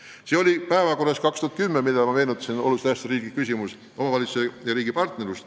See teema oli päevakorral aastal 2010 – ma juba mainisin seda – oluliselt tähtsa riikliku küsimusena "Omavalitsuse ja riigi partnerlus".